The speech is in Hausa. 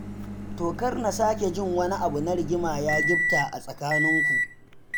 To kar na sake jin wani abu na rigima ya gifta a tsakaninku.